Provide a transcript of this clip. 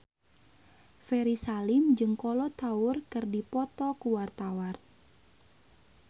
Ferry Salim jeung Kolo Taure keur dipoto ku wartawan